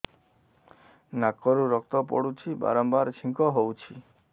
ନାକରୁ ରକ୍ତ ପଡୁଛି ବାରମ୍ବାର ଛିଙ୍କ ହଉଚି